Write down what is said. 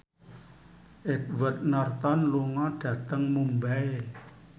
Edward Norton lunga dhateng Mumbai